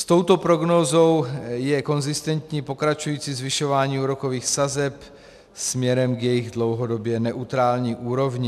S touto prognózou je konzistentní pokračující zvyšování úrokových sazeb směrem k jejich dlouhodobě neutrální úrovni.